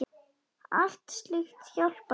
Allt slíkt hjálpar til.